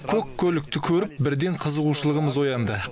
көк көлікті көріп бірден қызығушылығымыз оянды